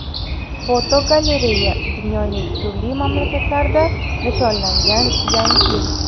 Fotogalereya: Dunyoning turli mamlakatlarida nishonlangan Yangi yil.